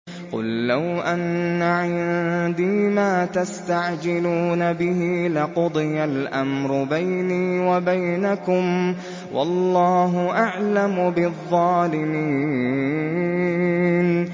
قُل لَّوْ أَنَّ عِندِي مَا تَسْتَعْجِلُونَ بِهِ لَقُضِيَ الْأَمْرُ بَيْنِي وَبَيْنَكُمْ ۗ وَاللَّهُ أَعْلَمُ بِالظَّالِمِينَ